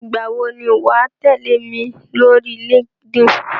Ìgbà wò ni wà á tẹ̀lẹ́ mi lórí Linkedin?